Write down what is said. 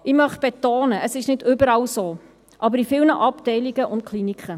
Ich möchte betonen, dass es nicht überall so ist, aber in vielen Abteilungen und Kliniken.